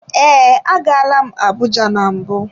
Ee, agala m Abuja na mbụ.